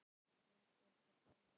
Þorbjörn: Hvers vegna ekki?